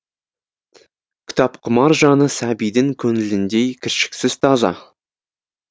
кітапқұмар жаны сәбидің көңіліндей кіршіксіз таза